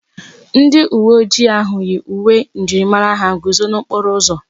Onye uwe ojii ahụ yi uwe njirimara ha guzo n'okporo ụzọ.